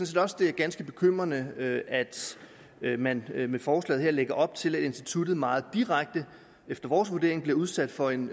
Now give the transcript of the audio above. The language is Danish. set også det er ganske bekymrende at man med forslaget her lægger op til at instituttet meget direkte efter vores vurdering bliver udsat for en